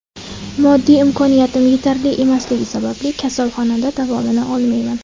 Moddiy imkoniyatim yetarli emasligi sababli kasalxonada davolana olmayman.